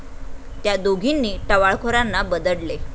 त्या दोघींनी टवाळखोरांना बदडले